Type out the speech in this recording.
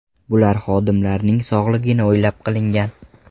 Bular xodimlarning sog‘ligini o‘ylab qilingan.